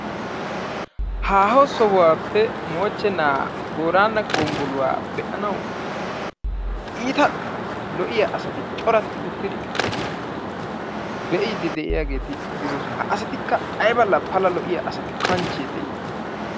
Haaho sohuwappe moochchena booraago gonggoluwa be'anawu iita loiya asati asati corati uttidi be'idi de'iyaageeti de'oosona. Ha asatikka aybba la pala lo''iya asatu kanchche de'i!